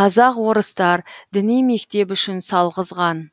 қазақ орыстар діни мектеп үшін салғызған